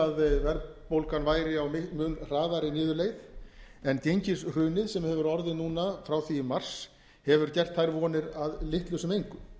að verðbólgan væri á mun hraðari niðurleið en gengishrunið sem hefur orðið núna frá því í mars hefur gert þær vonir að litlu sem engu